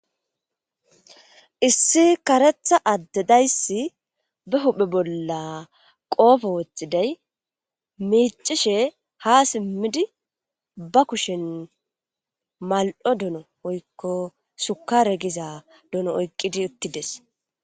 issi karetha addedaysi be huphe bolla qoofe woxxiday miicishe ha simmidi ba kushen mal7o dono oykko shukare giza dono oyqqidi uttides